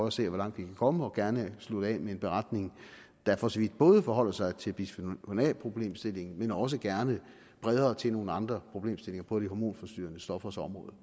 at se hvor langt vi kan komme og gerne slutte af med en beretning der for så vidt både forholder sig til bisfenol a problemstillingen og også gerne bredere til nogle andre problemstillinger på de hormonforstyrrende stoffers område